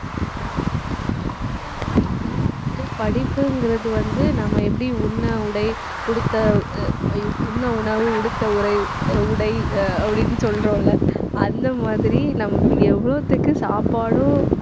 ஆனா, உண்மையாவே இப்பெல்லாம் வந்துட்டு படிப்புங்கிறது வந்து நம்ம எப்படி உண்ண, உடை, உடுத்த அஹ் ஐயோ உண்ண உணவு, உடுத்த உரை அஹ் உடை அஹ் அப்படின்னு சொல்றோம்ல அந்த மாதிரி நமக்கு எவ்வளவுத்துக்கு சாப்பாடும்